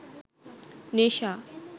নেশা